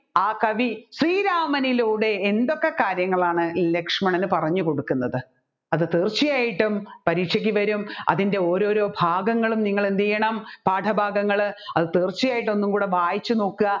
ആ കവി ശ്രീരാമനിലൂടെ എന്തൊക്കെ കാര്യങ്ങളാണ് ലക്ഷ്മണന് പറഞ്ഞുകൊടുക്കുന്നത് അത് തീർച്ചയായിട്ടും പരീക്ഷക്ക് വരും അതിൻെറ ഓരോരോ ഭാഗങ്ങളും നിങ്ങൾ എന്ത് ചെയ്യണം പാഠഭാഗങ്ങൾ അത് തീർച്ചയായിട്ടും ഒന്ന് കൂടെ വായിച്ചു നോക്കുക